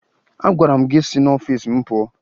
Agwara m gị si n'ọfiisi m pụọ!